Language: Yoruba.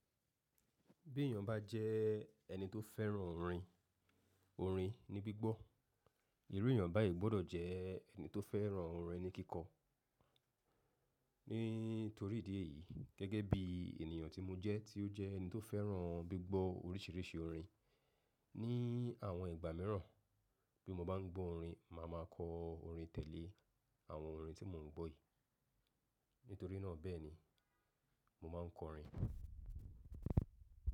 Bí èyàn bá jẹ́ ẹni tó fẹ́ràn orin, orin ní gbígbọ́, irú èyàn báyìí gbọ́dọ̀ jẹ́ ẹni tó fẹ́ràn orin ní kíkọ́. Nítorí ìdí èyí gẹ́gẹ́ bí ènìyàn tí mo jẹ́ tí ó jẹ́ ẹni tó fẹ́ràn gbígbọ́ oríṣìíríṣìí orin, ní àwọn ìgbà míràn bí mo bá ń gbọ́ orin, màá ma kọ orin tẹ̀lé àwọn orin tí mò ń gbọ́ yìí. Nítorí náà bẹ́ẹ̀ ni mo máa kọ orin.